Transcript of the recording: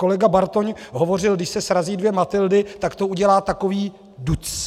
Kolega Bartoň hovořil - když se srazí dvě Matyldy, tak to udělá takový duc.